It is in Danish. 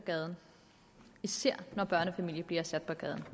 gaden især når børnefamilier bliver sat på gaden